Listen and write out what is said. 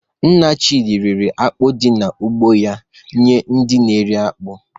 Nna Chidi rere akpụ di na ugbo ya nye ndi na-eri akpu.